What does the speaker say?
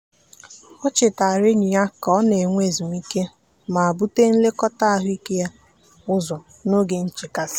o chetaara enyi ya ka ọ na-enwe ezumike ma bute nlekọta ahụike ya ụzọ n'oge nchekasị.